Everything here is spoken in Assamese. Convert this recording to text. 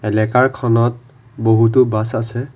এলেকাৰ খনত বহুতো বাছ আছে।